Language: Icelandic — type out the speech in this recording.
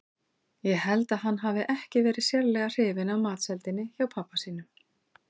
Ég held að hann hafi ekki verið sérlega hrifinn af matseldinni hjá pabba sínum.